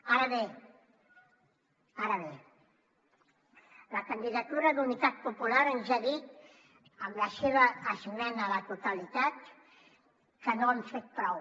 ara bé ara bé la candidatura d’unitat popular ens ha dit amb la seva esmena a la totalitat que no hem fet prou